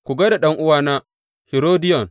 Ku gai da ɗan’uwana, Hirodiyon.